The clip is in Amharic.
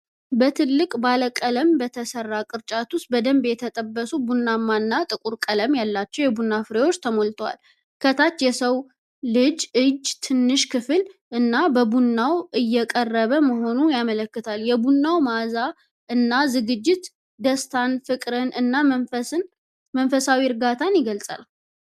በትልቅና ባለቀለም በተሠራ ቅርጫት ውስጥ፣ በደንብ የተጠበሱ ቡናማ እና ጥቁር ቀለም ያላቸው የቡና ፍሬዎች ተሞልተዋል። ከታች የሰው እጅ ትንሽ ክፍል እና፤ ቡናው እየቀረበ መሆኑን ያመለክታል። የቡናው መዓዛ እና ዝግጅት ደስታን፣ ፍቅርን እና መንፈሳዊ እርጋታን ይገልጻል።